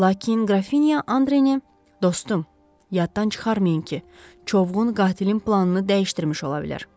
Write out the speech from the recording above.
Lakin Qrafinya Andrenin, dostum, yaddan çıxarmayın ki, çovğun qatilin planını dəyişdirmiş ola bilər.